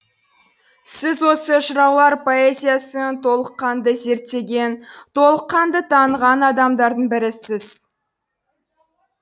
сіз осы жыраулар поэзиясын толыққанды зерттеген толыққанды таныған адамдардың бірісіз